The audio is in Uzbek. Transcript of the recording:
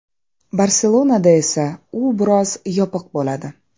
Barselonada esa u biroz yopiq bo‘ladi.